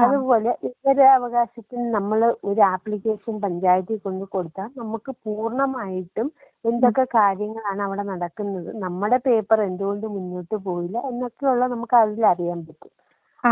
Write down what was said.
അതുപോലെ വിവരാവകാശത്തിന് നമ്മൾ ഒരു ആപ്ലിക്കേഷൻ പഞ്ചായത്തിൽ കൊണ്ട് കൊടുത്ത നമുക്ക് പൂർണ്ണമായിട്ടും എന്തൊക്കെ കാര്യങ്ങളാണ് അവിടെ നടക്കുന്നത് നമ്മുടെ പേപ്പർ എന്തുകൊണ്ട് മുന്നോട്ടു പോയില്ല എന്നൊക്കെയുള്ളത് നമുക്ക് അതിൽ അറിയാൻ പറ്റും.